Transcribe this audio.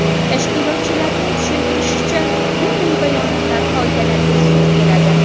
Tashkilotchilarning tushuntirishicha, bunday bayonotlar qoidalarga zid keladi.